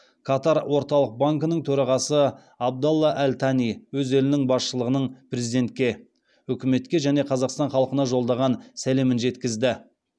катар орталық банкінің төрағасы абдалла әл тани өз елінің басшылығының президентке үкіметке және қазақстан халқына жолдаған сәлемін жеткізді